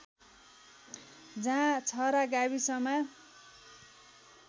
जहाँ छहरा गाविसमा